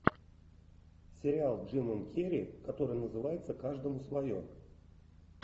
сериал с джимом керри который называется каждому свое